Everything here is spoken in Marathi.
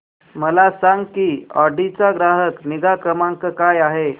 मला सांग की ऑडी चा ग्राहक निगा क्रमांक काय आहे